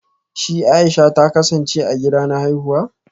Shi Aisha ta kasance a gida na haifuwa